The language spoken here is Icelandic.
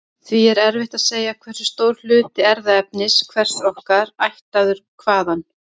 Því er erfitt að segja hversu stór hluti erfðaefnis hvers okkar er ættaður hvaðan.